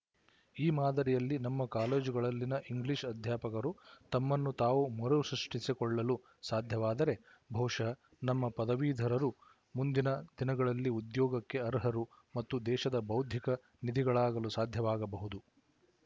ಈ ಮಾದರಿಯಲ್ಲಿ ನಮ್ಮ ಕಾಲೇಜುಗಳಲ್ಲಿನ ಇಂಗ್ಲಿಶ ಅಧ್ಯಾಪಕರು ತಮ್ಮನ್ನು ತಾವು ಮರು ಸೃಷ್ಟಿಸಿಕೊಳ್ಳಲು ಸಾಧ್ಯವಾದರೆ ಬಹುಶಃ ನಮ್ಮ ಪದವೀಧರರು ಮುಂದಿನ ದಿನಗಳಲ್ಲಿ ಉದ್ಯೋಗಕ್ಕೆ ಅರ್ಹರು ಮತ್ತು ದೇಶದ ಬೌದ್ಧಿಕ ನಿಧಿಗಳಾಗಲು ಸಾಧ್ಯವಾಗಬಹುದು